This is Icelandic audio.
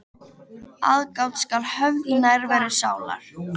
Aðgát skal höfð í nærveru sálar.